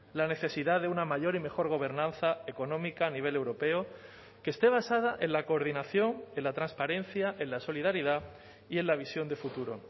la necesidad de una mayor y mejor gobernanza económica a nivel europeo que esté basada en la coordinación en la transparencia en la solidaridad y en la visión de futuro